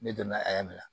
Ne donna a minɛ